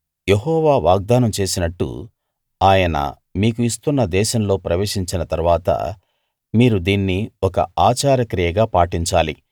యెహోవా వాగ్దానం చేసినట్టు ఆయన మీకు ఇస్తున్న దేశంలో ప్రవేశించిన తరువాత మీరు దీన్ని ఒక ఆచార క్రియగా పాటించాలి